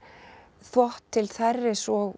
þvott til þerris og